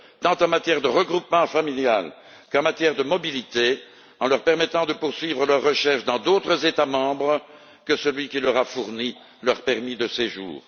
tant en matière de regroupement familial qu'en matière de mobilité, en leur permettant de poursuivre leurs recherches dans d'autres États membres que celui qui leur a fourni leur permis de séjour.